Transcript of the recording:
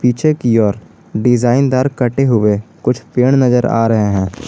पीछे की ओर डिजाइन दार कटे हुए कुछ पेड़ नजर आ रहे हैं।